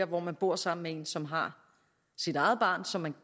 hvor man bor sammen med en som har sit eget barn som man